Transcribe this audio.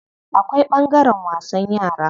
Akwai ɓangaren wasan yara.